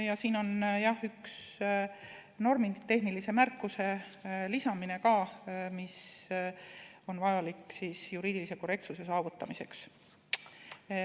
Ja siin on ka üks normitehnilise märkuse lisamine, mis on vajalik juriidilise korrektsuse saavutamiseks.